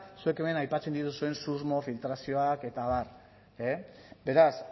zuek hemen aipatzen dituzuen susmo filtrazioak eta abar e beraz